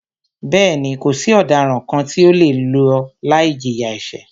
Bẹ́ẹ̀ni, kò sí ọ̀daràn kàn tí o le lọ láì jìyà ẹ̀ṣẹ̀.